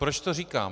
Proč to říkám?